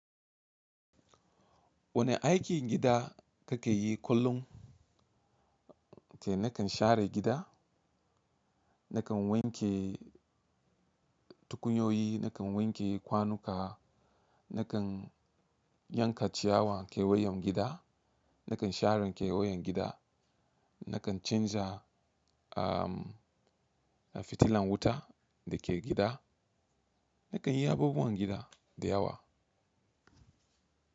Wane aikin gida kake yi kullum? Eh nakan share gida, nakan wanke tukunyoyi, nakan wanke kwanuka, nakan yanka ciyawan keweyen gida, nakan share keweyen gida, nakan canza ahh fitilan wuta da ke gida, nakan yi abubuwan gida da yawa.